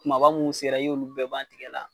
Kumaba mun sera i y'olu bɛɛ ban tigɛ la